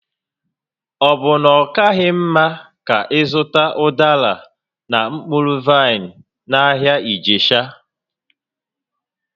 Ọ bụ na ọ kaghị mma ka ị zụta ụdara na mkpụrụ vaịn n'ahịa Ijesha?